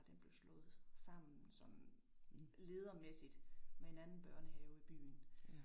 Den blev slået sammen sådan ledermæssigt med en anden børnehave i byen